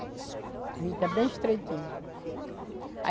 O rio está bem estreitinho.